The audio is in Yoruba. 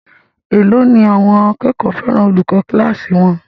Èló ni àwọn akẹ́kọ̀ọ́ fẹ́ràn olùkọ́ kíláàsì wọn?